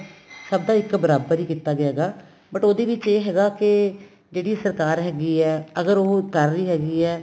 ਸਭ ਦਾ ਇੱਕ ਬਰਾਬਰ ਈ ਕੀਤਾ ਗਿਆ ਹੈਗਾ but ਉਹਦੇ ਵਿੱਚ ਇਹ ਹੈਗਾ ਕੇ ਜਿਹੜੀ ਸਰਕਾਰ ਹੈਗੀ ਏ ਅਗਰ ਉਹ ਕਰ ਰਹੀ ਹੈਗੀ ਏ